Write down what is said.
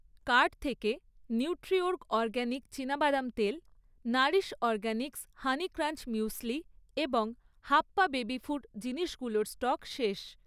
Cart থেকে Nutriorg organic চিনাবাদাম তেল, Nourish Organics honey crunch muesli এবং হাপ্পা বেবি ফুড জিনিসগুলোর স্টক শেষ।